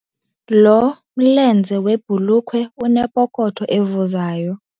Lo mlenze webhulukhwe unepokotho evuzayo.